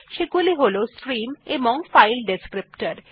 সেগুলি হল স্ট্রিম এবং ফাইল ডেসক্রিপ্টর